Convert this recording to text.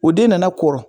O den nana kɔrɔ